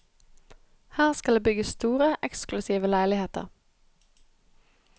Her skal det bygges store, eksklusive leiligheter.